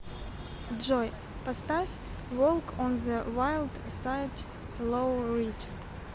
джой поставь волк он зэ вайлд сайд лоу рид